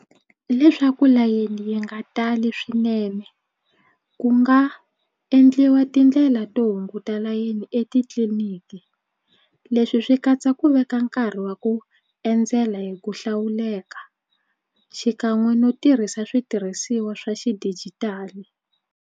Leswaku layeni yi nga tali swinene ku nga endliwa tindlela to hunguta layeni etitliniki leswi swi katsa ku veka nkarhi wa ku endzela hi ku hlawuleka xikan'we no tirhisa switirhisiwa swa xidijitali.